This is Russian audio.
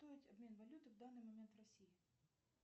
обмен валюты в данный момент в россии